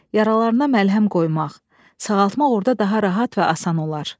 Yaralarına məlhəm qoymaq, sağaltmaq orda daha rahat və asan olar.